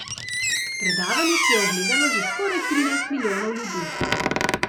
Predavanje si je ogledalo že skoraj trinajst milijonov ljudi.